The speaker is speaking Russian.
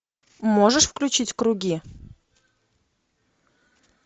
можешь включить круги